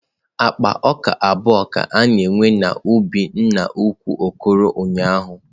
Akpa ọka abụọ ka a na-ewe n'ubi nna ukwu Okoro ụnyaahụ.